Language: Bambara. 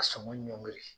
Ka sɔngɔ ɲɔngiri